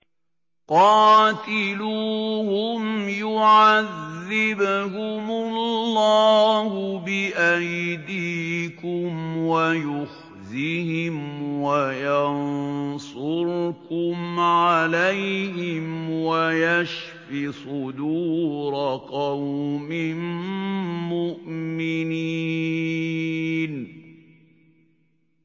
قَاتِلُوهُمْ يُعَذِّبْهُمُ اللَّهُ بِأَيْدِيكُمْ وَيُخْزِهِمْ وَيَنصُرْكُمْ عَلَيْهِمْ وَيَشْفِ صُدُورَ قَوْمٍ مُّؤْمِنِينَ